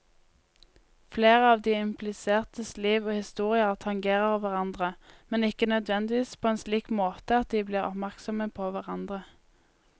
Flere av de implisertes liv og historier tangerer hverandre, men ikke nødvendigvis på en slik måte at de blir oppmerksomme på hverandre.